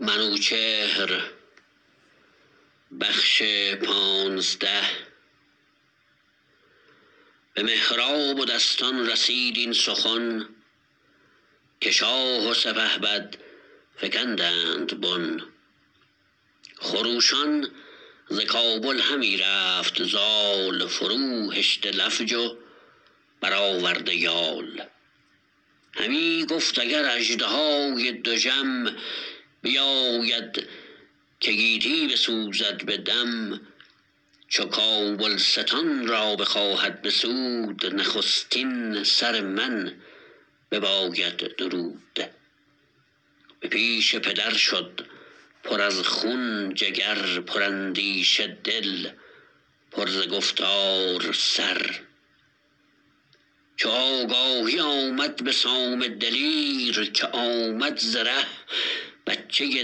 به مهراب و دستان رسید این سخن که شاه و سپهبد فگندند بن خروشان ز کابل همی رفت زال فروهشته لفج و برآورده یال همی گفت اگر اژدهای دژم بیاید که گیتی بسوزد به دم چو کابلستان را بخواهد بسود نخستین سر من بباید درود به پیش پدر شد پر از خون جگر پر اندیشه دل پر ز گفتار سر چو آگاهی آمد به سام دلیر که آمد ز ره بچه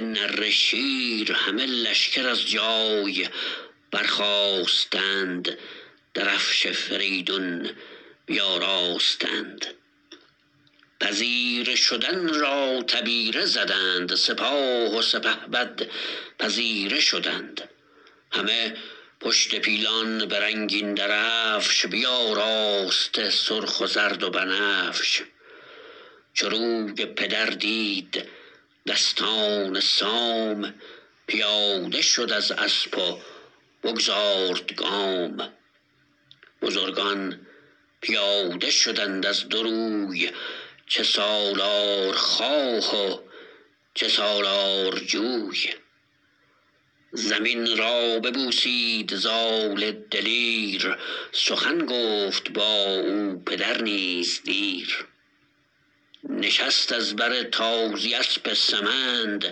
نره شیر همه لشکر از جای برخاستند درفش فریدون بیاراستند پذیره شدن را تبیره زدند سپاه و سپهبد پذیره شدند همه پشت پیلان به رنگین درفش بیاراسته سرخ و زرد و بنفش چو روی پدر دید دستان سام پیاده شد از اسپ و بگذارد گام بزرگان پیاده شدند از دو روی چه سالارخواه و چه سالارجوی زمین را ببوسید زال دلیر سخن گفت با او پدر نیز دیر نشست از بر تازی اسپ سمند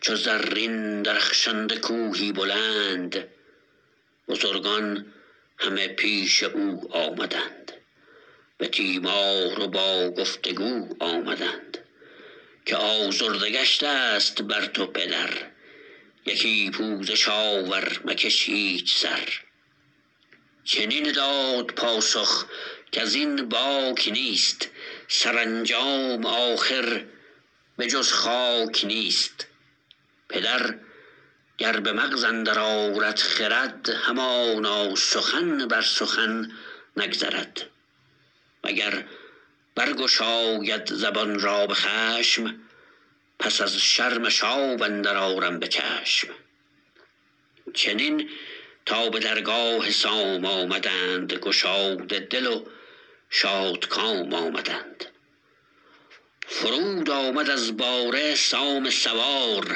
چو زرین درخشنده کوهی بلند بزرگان همه پیش او آمدند به تیمار و با گفت و گو آمدند که آزرده گشتست بر تو پدر یکی پوزش آور مکش هیچ سر چنین داد پاسخ کزین باک نیست سرانجام آخر به جز خاک نیست پدر گر به مغز اندر آرد خرد همانا سخن بر سخن نگذرد و گر برگشاید زبان را به خشم پس از شرمش آب اندر آرم به چشم چنین تا به درگاه سام آمدند گشاده دل و شادکام آمدند فرود آمد از باره سام سوار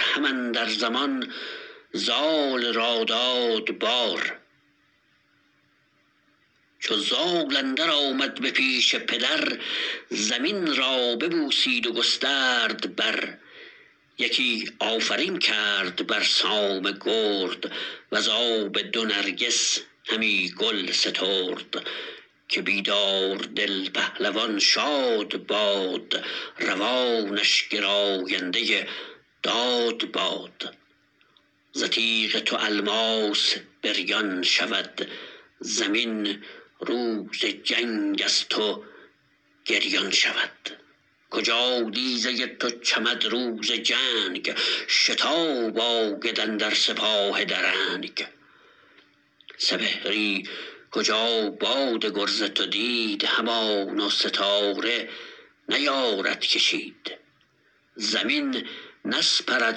هم اندر زمان زال را داد بار چو زال اندر آمد به پیش پدر زمین را ببوسید و گسترد بر یکی آفرین کرد بر سام گرد وزاب دو نرگس همی گل سترد که بیدار دل پهلوان شاد باد روانش گراینده داد باد ز تیغ تو الماس بریان شود زمین روز جنگ از تو گریان شود کجا دیزه تو چمد روز جنگ شتاب آید اندر سپاه درنگ سپهری کجا باد گرز تو دید همانا ستاره نیارد کشید زمین نسپرد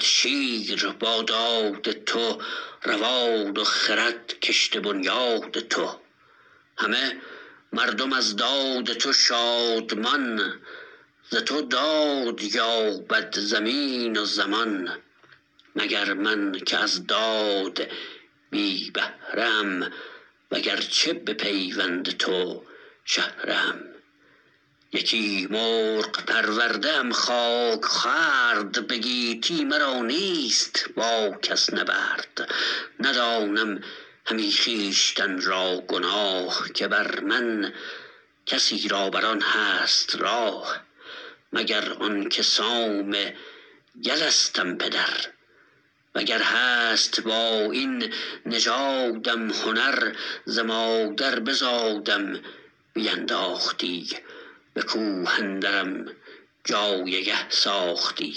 شیر با داد تو روان و خرد کشته بنیاد تو همه مردم از داد تو شادمان ز تو داد یابد زمین و زمان مگر من که از داد بی بهره ام و گرچه به پیوند تو شهره ام یکی مرغ پرورده ام خاک خورد به گیتی مرا نیست با کس نبرد ندانم همی خویشتن را گناه که بر من کسی را بران هست راه مگر آنکه سام یلستم پدر و گر هست با این نژادم هنر ز مادر بزادم بینداختی به کوه اندرم جایگه ساختی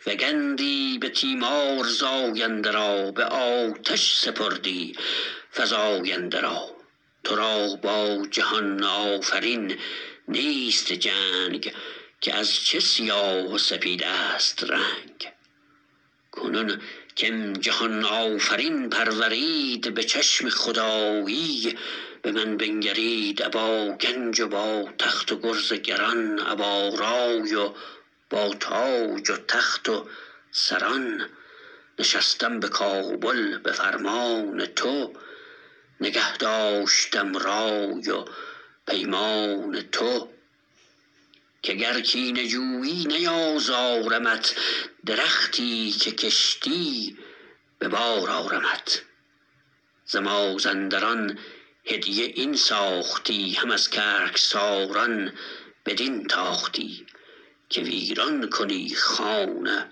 فگندی به تیمار زاینده را به آتش سپردی فزاینده را ترا با جهان آفرین نیست جنگ که از چه سیاه و سپیدست رنگ کنون کم جهان آفرین پرورید به چشم خدایی به من بنگرید ابا گنج و با تخت و گرز گران ابا رای و با تاج و تخت و سران نشستم به کابل به فرمان تو نگه داشتم رای و پیمان تو که گر کینه جویی نیازارمت درختی که کشتی به بار آرمت ز مازندران هدیه این ساختی هم از گرگساران بدین تاختی که ویران کنی خان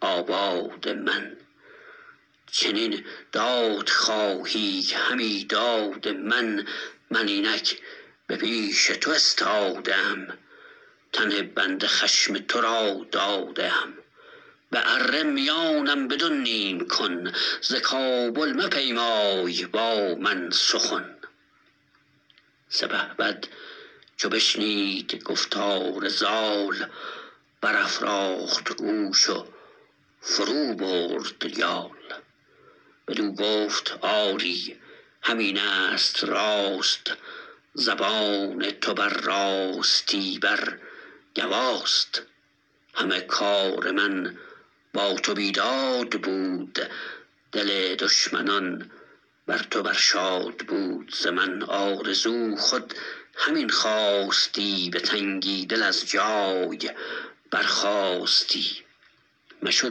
آباد من چنین داد خواهی همی داد من من اینک به پیش تو استاده ام تن بنده خشم ترا داده ام به اره میانم بدو نیم کن ز کابل مپیمای با من سخن سپهبد چو بشنید گفتار زال برافراخت گوش و فرو برد یال بدو گفت آری همینست راست زبان تو بر راستی بر گواست همه کار من با تو بیداد بود دل دشمنان بر تو بر شاد بود ز من آرزو خود همین خواستی به تنگی دل از جای برخاستی مشو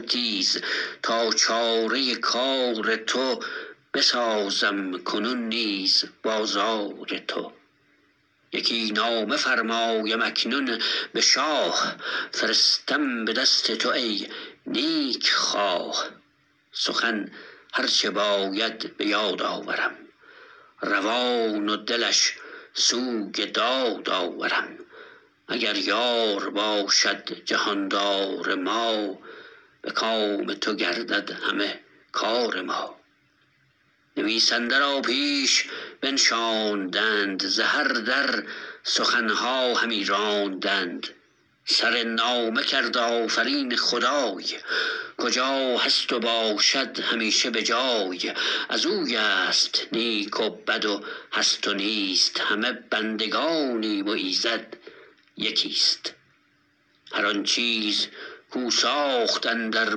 تیز تا چاره کار تو بسازم کنون نیز بازار تو یکی نامه فرمایم اکنون به شاه فرستم به دست تو ای نیک خواه سخن هر چه باید به یاد آورم روان و دلش سوی داد آورم اگر یار باشد جهاندار ما به کام تو گردد همه کار ما نویسنده را پیش بنشاندند ز هر در سخنها همی راندند سرنامه کرد آفرین خدای کجا هست و باشد همیشه به جای ازویست نیک و بد و هست و نیست همه بندگانیم و ایزد یکیست هر آن چیز کو ساخت اندر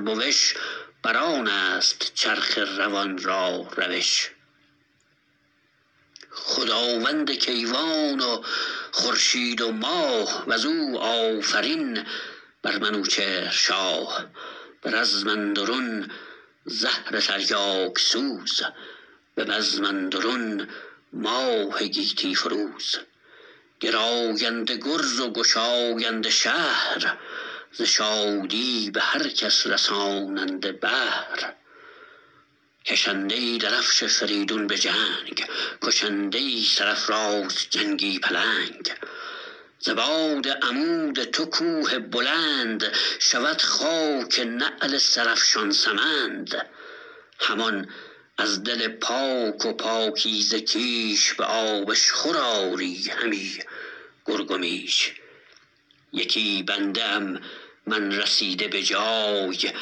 بوش بران است چرخ روان را روش خداوند کیوان و خورشید و ماه وزو آفرین بر منوچهر شاه به رزم اندرون زهر تریاک سوز به بزم اندرون ماه گیتی فروز گراینده گرز و گشاینده شهر ز شادی به هر کس رساننده بهر کشنده درفش فریدون به جنگ کشنده سرافراز جنگی پلنگ ز باد عمود تو کوه بلند شود خاک نعل سرافشان سمند همان از دل پاک و پاکیزه کیش به آبشخور آری همی گرگ و میش یکی بنده ام من رسیده به جای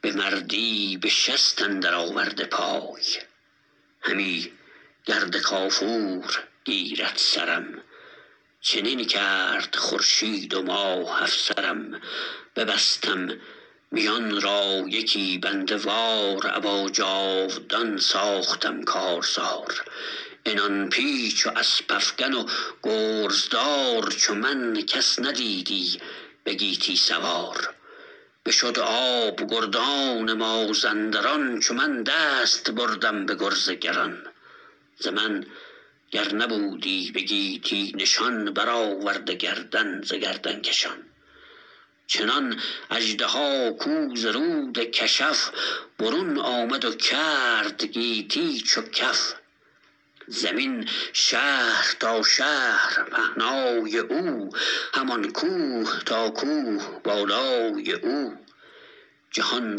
به مردی به شست اندر آورده پای همی گرد کافور گیرد سرم چنین کرد خورشید و ماه افسرم ببستم میان را یکی بنده وار ابا جاودان ساختم کارزار عنان پیچ و اسپ افگن و گرزدار چو من کس ندیدی به گیتی سوار بشد آب گردان مازندران چو من دست بردم به گرز گران ز من گر نبودی به گیتی نشان برآورده گردن ز گردن کشان چنان اژدها کو ز رود کشف برون آمد و کرد گیتی چو کف زمین شهر تا شهر پهنای او همان کوه تا کوه بالای او جهان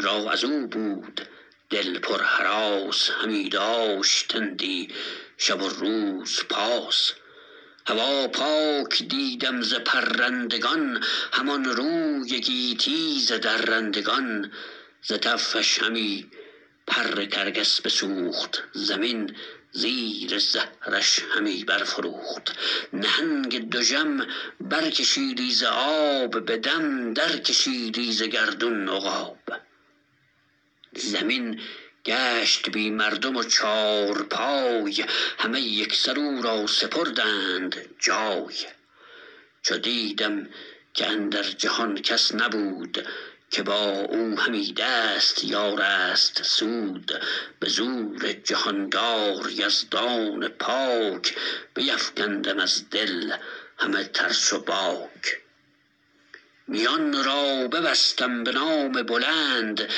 را ازو بود دل پر هراس همی داشتندی شب و روز پاس هوا پاک دیدم ز پرندگان همان روی گیتی ز درندگان ز تفش همی پر کرگس بسوخت زمین زیر زهرش همی برفروخت نهنگ دژم بر کشیدی ز آب به دم درکشیدی ز گردون عقاب زمین گشت بی مردم و چارپای همه یکسر او را سپردند جای چو دیدم که اندر جهان کس نبود که با او همی دست یارست سود به زور جهاندار یزدان پاک بیفگندم از دل همه ترس و باک میان را ببستم به نام بلند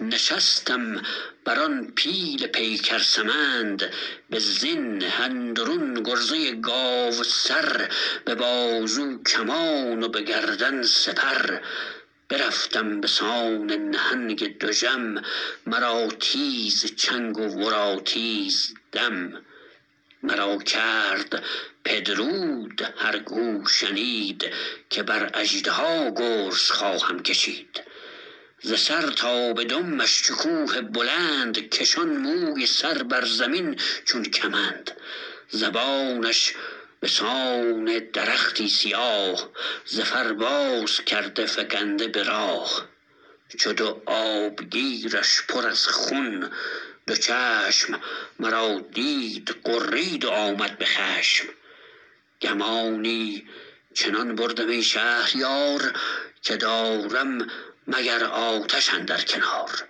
نشستم بران پیل پیکر سمند به زین اندرون گرزه گاوسر به بازو کمان و به گردن سپر برفتم بسان نهنگ دژم مرا تیز چنگ و ورا تیز دم مرا کرد پدرود هرکو شنید که بر اژدها گرز خواهم کشید ز سر تا به دمش چو کوه بلند کشان موی سر بر زمین چون کمند زبانش بسان درختی سیاه ز فر باز کرده فگنده به راه چو دو آبگیرش پر از خون دو چشم مرا دید غرید و آمد به خشم گمانی چنان بردم ای شهریار که دارم مگر آتش اندر کنار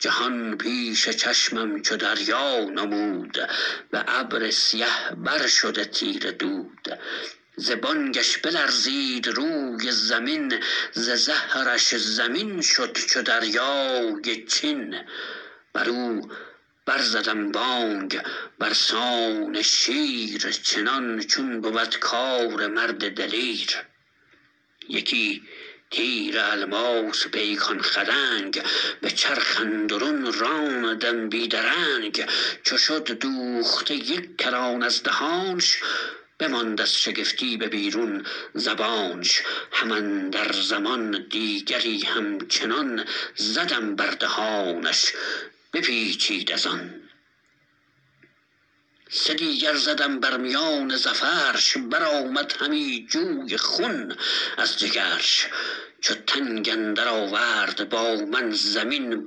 جهان پیش چشمم چو دریا نمود به ابر سیه بر شده تیره دود ز بانگش بلرزید روی زمین ز زهرش زمین شد چو دریای چین برو بر زدم بانگ برسان شیر چنان چون بود کار مرد دلیر یکی تیر الماس پیکان خدنگ به چرخ اندرون راندم بی درنگ چو شد دوخته یک کران از دهانش بماند از شگفتی به بیرون زبانش هم اندر زمان دیگری همچنان زدم بر دهانش بپیچید ازان سدیگر زدم بر میان زفرش برآمد همی جوی خون از جگرش چو تنگ اندر آورد با من زمین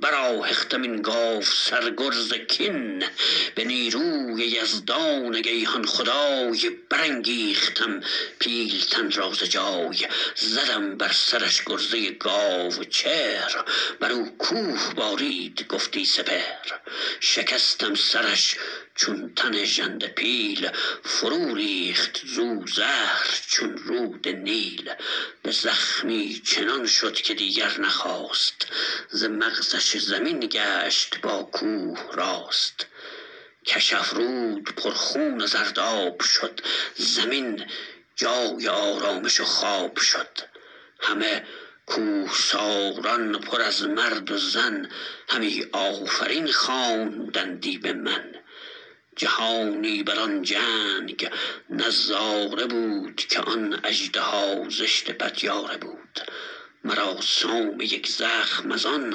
برآهختم این گاوسر گرز کین به نیروی یزدان گیهان خدای برانگیختم پیلتن را ز جای زدم بر سرش گرزه گاو چهر برو کوه بارید گفتی سپهر شکستم سرش چون تن ژنده پیل فرو ریخت زو زهر چون رود نیل به زخمی چنان شد که دیگر نخاست ز مغزش زمین گشت باکوه راست کشف رود پر خون و زرداب شد زمین جای آرامش و خواب شد همه کوهساران پر از مرد و زن همی آفرین خواندندی بمن جهانی بران جنگ نظاره بود که آن اژدها زشت پتیاره بود مرا سام یک زخم ازان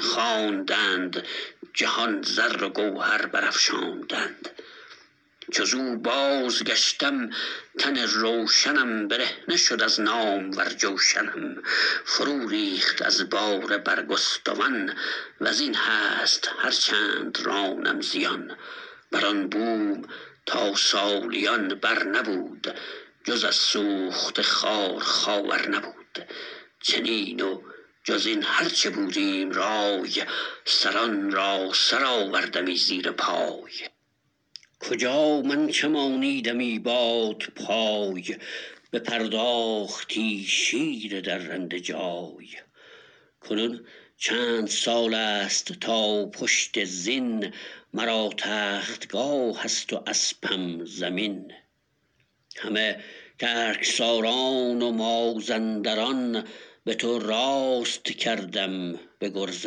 خواندند جهان زر و گوهر برافشاندند چو زو بازگشتم تن روشنم برهنه شد از نامور جوشنم فرو ریخت از باره برگستوان وزین هست هر چند رانم زیان بران بوم تا سالیان بر نبود جز از سوخته خار خاور نبود چنین و جزین هر چه بودیم رای سران را سرآوردمی زیر پای کجا من چمانیدمی بادپای بپرداختی شیر درنده جای کنون چند سالست تا پشت زین مرا تختگاه است و اسپم زمین همه گرگساران و مازنداران به تو راست کردم به گرز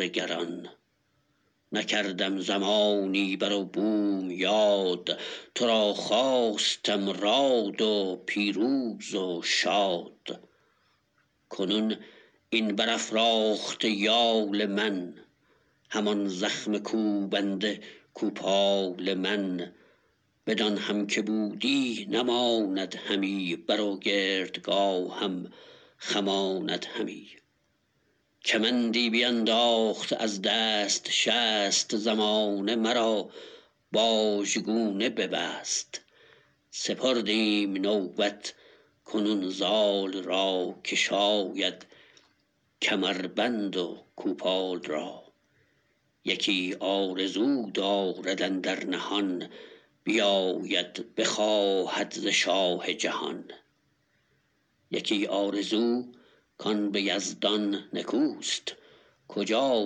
گران نکردم زمانی برو بوم یاد ترا خواستم راد و پیروز و شاد کنون این برافراخته یال من همان زخم کوبنده کوپال من بدان هم که بودی نماند همی بر و گردگاهم خماند همی کمندی بینداخت از دست شست زمانه مرا باژگونه ببست سپردیم نوبت کنون زال را که شاید کمربند و کوپال را یکی آرزو دارد اندر نهان بیاید بخواهد ز شاه جهان یکی آرزو کان به یزدان نکوست کجا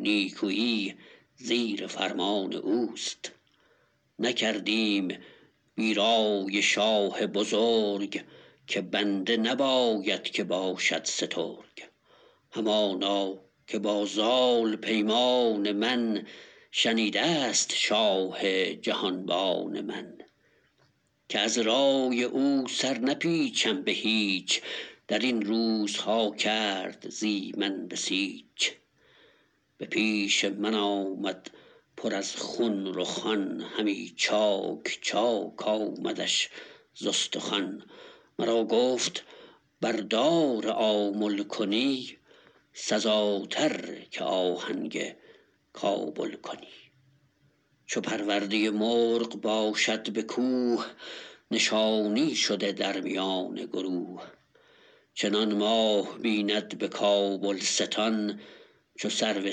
نیکویی زیر فرمان اوست نکردیم بی رای شاه بزرگ که بنده نباید که باشد سترگ همانا که با زال پیمان من شنیدست شاه جهان بان من که از رای او سر نپیچم به هیچ درین روزها کرد زی من بسیچ به پیش من آمد پر از خون رخان همی چاک چاک آمدش ز استخوان مرا گفت بردار آمل کنی سزاتر که آهنگ کابل کنی چو پرورده مرغ باشد به کوه نشانی شده در میان گروه چنان ماه بیند به کابلستان چو سرو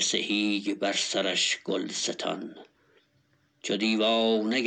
سهی بر سرش گلستان چو دیوانه گردد نباشد شگفت ازو شاه را کین نباید گرفت کنون رنج مهرش به جایی رسید که بخشایش آرد هر آن کش بدید ز بس درد کو دید بر بی گناه چنان رفت پیمان که بشنید شاه گسی کردمش با دلی مستمند چو آید به نزدیک تخت بلند همان کن که با مهتری در خورد ترا خود نیاموخت باید خرد چو نامه نوشتند و شد رای راست ستد زود دستان و بر پای خاست چو خورشید سر سوی خاور نهاد نخفت و نیاسود تا بامداد چو آن جامه ها سوده بفگند شب سپیده بخندید و بگشاد لب بیامد به زین اندر آورد پای برآمد خروشیدن کره نای به سوی شهنشاه بنهاد روی ابا نامه سام آزاده خوی